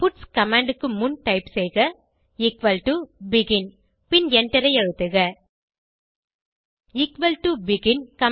puts command க்கு முன் type செய்க எக்குவல் டோ பெகின் பின் எண்டரை அழுத்துக எக்குவல் டோ பெகின்